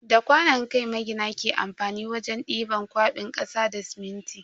Da kwanon kai magina ke amfani wajen diban kwabin kasa da siminti.